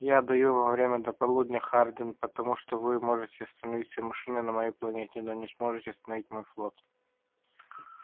я даю вам время до полудня хардин потому что вы можете остановить все машины на моей планете но не сможете остановить мой флот